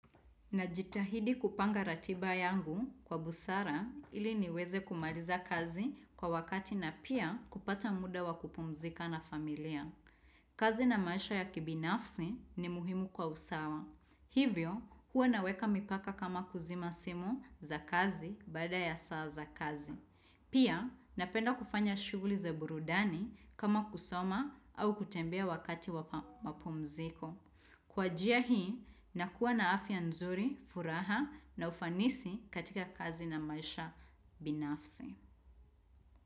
Najitahidi kupanga ratiba yangu kwa busara ili niweze kumaliza kazi kwa wakati na pia kupata muda wakupumzika na familia. Kazi na maisha ya kibinafsi ni muhimu kwa usawa. Hivyo, huwa naweka mipaka kama kuzima simu za kazi baada ya saa za kazi. Pia, napenda kufanya shughuli za burudani kama kusoma au kutembea wakati wa mapumziko. Kwa jia hii, nakuwa na afia nzuri, furaha na ufanisi katika kazi na maisha binafsi.